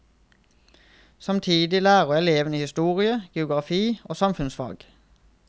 Samtidig lærer elevene historie, geografi og samfunnsfag.